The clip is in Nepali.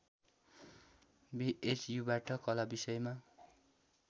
बिएचयुबाट कला विषयमा